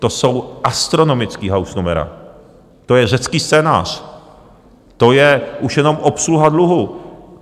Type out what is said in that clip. To jsou astronomická hausnumera, to je řecký scénář, to je už jenom obsluha dluhu.